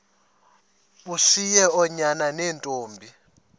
ushiye oonyana neentombi